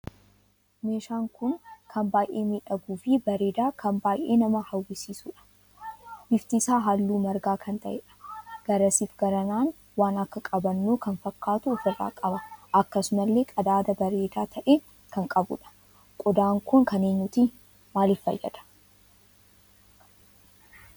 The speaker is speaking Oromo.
Meeshaan kun kan baay'ee miidhaguu fi bareedaa kan baay'ee nama hawwisiisuudha. bifti isaa halluu marga kan taheedha. garasiif garanaan waan akka qabannoo kan fakkaatu ofirraa qaba. akkasumallee qadaada bareedaa tahe kan qabuudha. qodaan kun kan eenyuti? Maaliif fayyada?